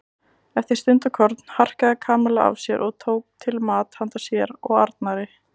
Eftir stundarkorn harkaði Kamilla af sér og tók til mat handa sér og Arnari.